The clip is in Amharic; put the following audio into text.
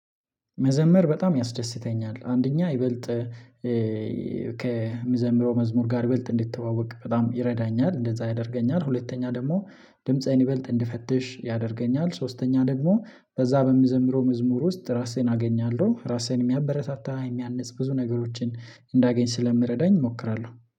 መዘምር በጣም ያስደስተኛል አንደኛ ይበልጥ ከምዘምረው መዝሙር ጋር ይበልጥ እንድትተዋወቅ በጣም ይረዳኛል እንደዛ ያደርገኛል። ሁለተኛ ደግሞ ድምፄን ይበልጥ እንድፈትሽ ያደርገኛል። ሶስተኛ ደግሞ በዚያ በምዘምረው መዝሙር ውስጥ ራሴን አገኛለሁ። ራሴን የሚያበረታታ የሚያንጽ ብዙ ነገሮችን እንዳገኝ ስለምረዳኝ እሞክራለሁ